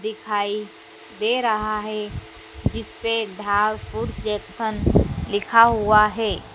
दिखाई दे रहा है जिसपे धारपुर जंक्शन लिखा हुआ है।